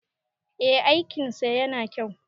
eh aikinsa yana kyau